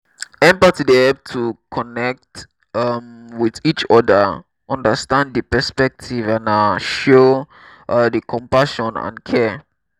empathy dey help to connect um with each oda understand di perspectives and um show um di compassion and care.